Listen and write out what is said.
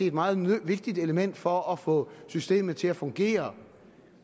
et meget vigtigt element for at få systemet til at fungere